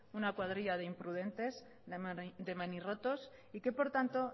una cuadrilla de imprudentes de manirrotos y que por tanto